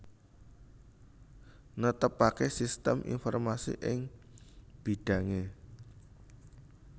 Netepaké sistem informasi ing bidhangé